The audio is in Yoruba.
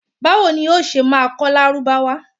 Báwo ni o ṣé máa kọ́ Lárúbáwá?